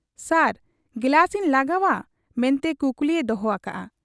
ᱥᱟᱨ ᱜᱤᱞᱟᱹᱥ ᱤᱧ ᱞᱟᱜᱟᱣ ᱟ ᱢᱮᱱᱛᱮ ᱠᱩᱠᱞᱤᱭᱮ ᱫᱚᱦᱚ ᱟᱠᱟᱜ ᱟ ᱾